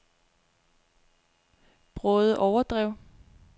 Bråde Overdrev